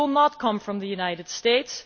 It will not come from the United States.